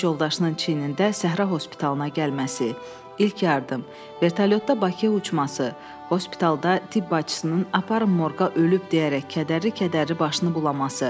Döyüş yoldaşının çiynində Səhra hospitalına gəlməsi, ilk yardım, vertolyotda Bakıya uçması, hospitalda tibb bacısının apar morka ölüb deyərək kədərli-kədərli başını bulaması.